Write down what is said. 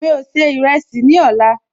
Mi ò se ìrẹsì ní ọ̀la